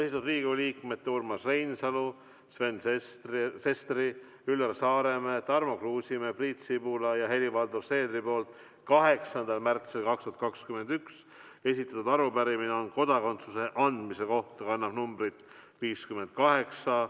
See on Riigikogu liikmete Urmas Reinsalu, Sven Sesteri, Üllar Saaremäe, Tarmo Kruusimäe, Priit Sibula ja Helir-Valdor Seederi 8. märtsil 2021 esitatud arupärimine kodakondsuse andmise kohta ja see kannab numbrit 58.